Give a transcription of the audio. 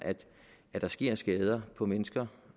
at der sker skader på mennesker